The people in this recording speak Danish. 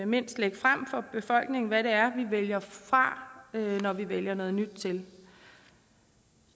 mindst lægge frem for befolkningen hvad vi vælger fra når vi vælger noget nyt til